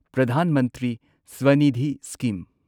Pradhan Mantri Swanidhi scheme